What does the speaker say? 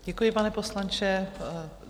Děkuji, pane poslanče.